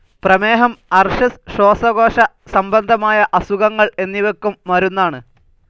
പ്രമേഹം അർശസ് ശ്വാസകോശസംബന്ധമായ അസുഖങ്ങൾ എന്നിവയ്ക്കും മരുന്നാണ്.